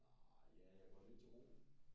Nej ja jeg går lidt til roning